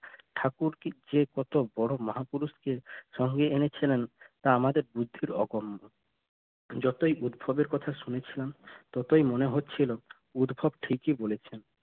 ঠাকুর যে কত বড়ো মাহাপুরুষকে সঙ্গে এনেছিলেন তা আমাদের বুদ্ধির অগওন্ন যতই উদ্ভবের কথা শুনেছিলাম ততই মনে হচ্ছিল উদ্ভব ঠিকই বলেছেন।